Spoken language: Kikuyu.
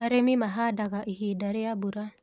arĩmi mahandaga ihinda rĩa mbura